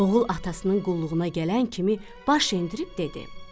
Oğul atasının qulluğuna gələn kimi baş endirib dedi: